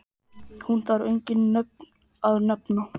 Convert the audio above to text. Hún þarf engin nöfn að nefna.